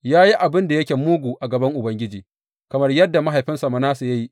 Ya yi abin da yake mugu a gaban Ubangiji kamar yadda mahaifinsa Manasse ya yi.